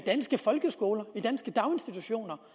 danske folkeskoler i danske daginstitutioner